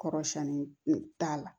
Kɔrɔ siɲɛni t'a la